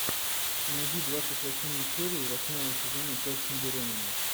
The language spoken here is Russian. найди двадцать восьмую серию восьмого сезона тест на беременность